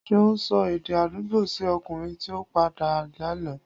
Ṣeun sò èdè àdúgbò sí okùnrin tí o pàdé lànà